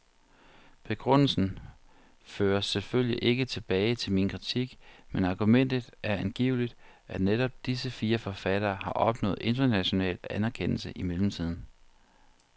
Begrundelsen føres selvfølgelig ikke tilbage til min kritik, men argumentet er angiveligt, at netop disse fire forfattere har opnået international anerkendelse i mellemtiden.